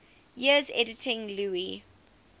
years editing lewes's